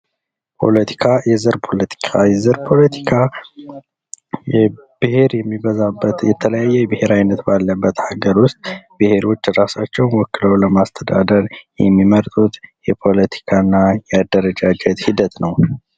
ፖለቲካ የዘር ፖለቲካ ብሔር የሚበዛበትን የተለያየ የብሔር አይነት ባለበት ሀገር ዉስጥ ብሔሮች ራሳቸውን ወክለው ለማስተዳደር የሚመርጡት የፖለቲካ እና የአደረጃጀት ሂደት ነው::